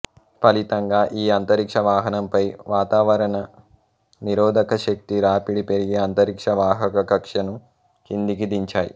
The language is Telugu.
ఫలితంగా ఈ అంతరిక్ష వాహనంపై వాతావరణ నిరోధకశక్తి రాపిడి పెరిగి అంతరిక్ష వాహక కక్ష్యను కిందికి దించాయి